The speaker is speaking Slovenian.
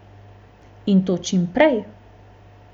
In to čim prej!